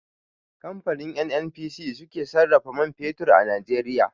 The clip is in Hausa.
Kamfanin NNPC su ke sarrafa man fetur a Najeriya.